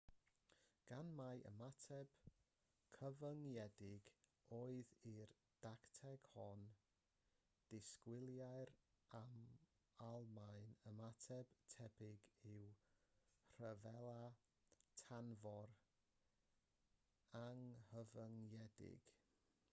gan mai ymateb cyfyngedig oedd i'r dacteg hon disgwyliai'r almaen ymateb tebyg i'w rhyfela tanfor anghyfyngedig